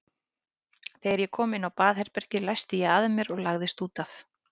Þegar ég kom inn á herbergið læsti ég að mér og lagðist út af.